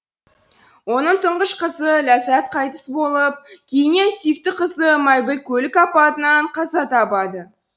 оның тұңғыш қызы ләззат қайтыс болып кейіннен сүйікті қызы майгүл көлік апатынан қаза табады